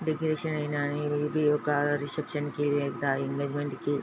decoration ఐన ఇది ఒక రిసెప్షన్ కి ఎంజిమెంట్ కి --